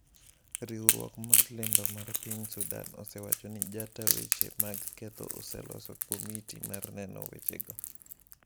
Riwruok mar lendo mar piny Sudan osewacho ni jata weche mag ketho oseloso komiti mar nono wechego.